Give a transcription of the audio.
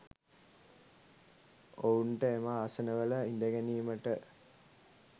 ඔවුන්ට එම ආසනවල හිඳගැනීමට